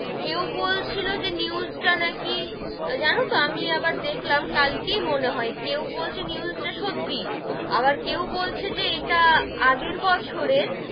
কেউ বলছিলো যে news টা নাকি, জানো তো আমি আবার দেখলাম কালকেই মনে হয়, কেউ বলছে news টা সত্যি, আবার কেউ বলছে যে ইটা আগে বছরের,